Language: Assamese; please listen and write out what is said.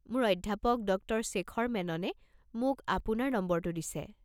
মোৰ অধ্যাপক, ডক্টৰ শ্বেখৰ মেননে মোক আপোনাৰ নম্বৰটো দিছে।